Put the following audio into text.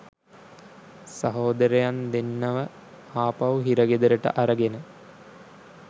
සහෝදරයන් දෙන්නව ආපහු හිරගෙදරට අරගෙන